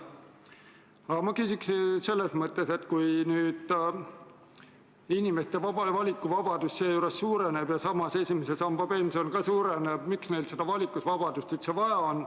Aga küsin seda, et kui inimeste valikuvabadus suureneb ja ka esimese samba pension suureneb, siis miks seda valikuvabadust üldse vaja on.